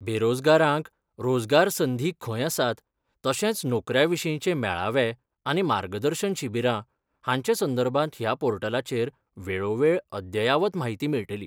बेरोजगारांक रोजगार संधी खंय आसात तशेंच नोकऱ्यां विशीचे मेळावे आनी मार्गदर्शन शिबीरां हाचे संदर्भात ह्या पोर्टलाचेर वेळोवेळ अद्ययावत म्हायती मेळटली.